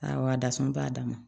Awɔ a dasɔn b'a dama